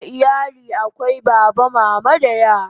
A iyali akwai Baba, Mama da yara